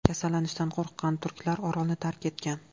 Kasallanishdan qo‘rqqan turklar orolni tark etgan.